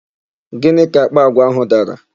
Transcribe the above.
Gịnị ka àkpà àgwà áhụ̀ dara?